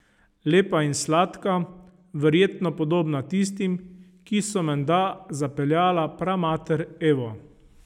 Lepa in sladka, verjetno podobna tistim, ki so menda zapeljala pramater Evo.